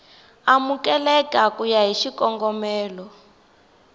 amukeleka ku ya hi xikongomelo